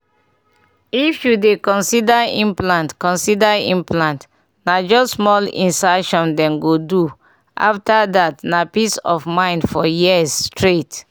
if you dey consider implant consider implant na just small insertion dem go do after that na peace of mind for years straight